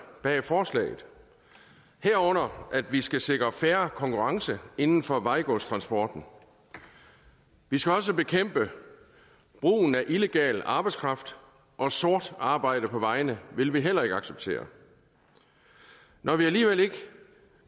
bag forslaget herunder at vi skal sikre fair konkurrence inden for vejgodstransporten vi skal også bekæmpe brugen af illegal arbejdskraft og sort arbejde på vejene vil vi heller ikke acceptere når vi alligevel ikke